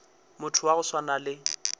motho wa go swana le